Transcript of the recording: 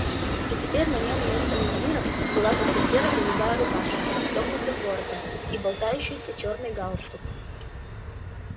и теперь на нём вместо мундира была только серо-голубая рубашка с расстёгнутым воротом и болтающийся чёрный галстук